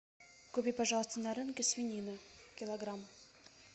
купи пожалуйста на рынке свинину килограмм